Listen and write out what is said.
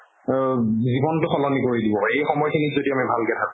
জিৱনতো সলনি কৰি দিব যদি এই সময়খিনিত আমি ভালকে থাকো